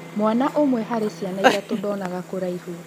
Mwana ũmwe harĩ ciana ithatũ ndonaga kũraihu .